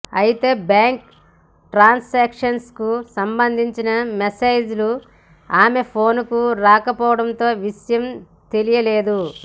అయితే bank transactions కు సంబంధించిన మెసేజ్ లు ఆమె ఫోన్ కు రాకపోవడంతో విషయం తెలియలేదు